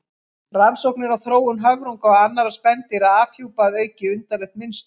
Rannsóknir á þróun höfrunga og annarra spendýra afhjúpa að auki undarlegt mynstur.